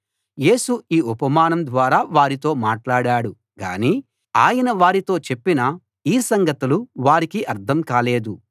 యేసు ఈ ఉపమానం ద్వారా వారితో మాట్లాడాడు గాని ఆయన వారితో చెప్పిన ఈ సంగతులు వారికి అర్థం కాలేదు